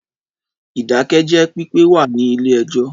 Ìdákẹ́jẹ́ pípé wà ní ilé ẹjọ́.